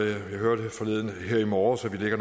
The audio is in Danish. jeg hørte her i morges at vi ligger